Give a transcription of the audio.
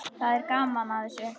Það er gaman að þessu.